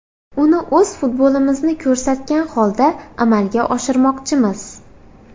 Uni o‘z futbolimizni ko‘rsatgan holda amalga oshirmoqchimiz.